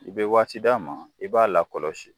I bɛ waati di a ma, i b'a la kɔlɔsi.